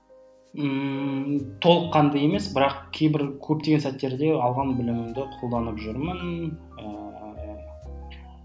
ммм толыққанды емес бірақ кейбір көптеген сәттерде алған білімімді қолданып жүрмін ыыы